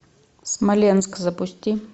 смоленск запусти